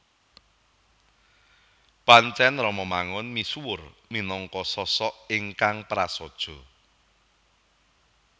Pancèn Romo Mangun misuwur minangka sosok ingkang prasaja